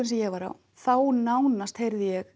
sem ég var á þá nánast heyrði ég